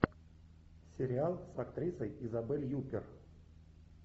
сериал с актрисой изабель юппер